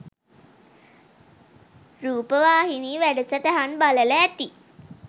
රූපවාහිනී වැඩසටහන් බලල ඇති.